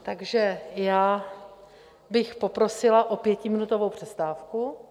Takže já bych poprosila o pětiminutovou přestávku.